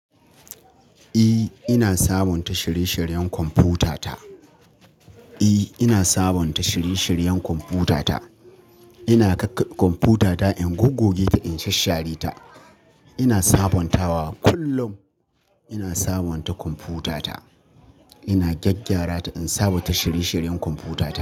Eh, ina sabonta shirye-shiryen kwamfutata. E, ina sabonta shiri-shiryen kwamfutata. Ina kakkabe kwamfutata in goggoge ta in sha-share ta. Ina sabontawa kullum. Ina sabonta kwamfutata. Ina gyaggyara ta in sabonta shiri-shiryen kwamfutata.